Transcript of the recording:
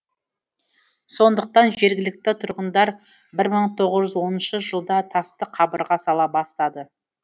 сондықтан жергілікті тұрғындар бір мың тоғыз жүз оныншы жылда тасты қабырға сала бастады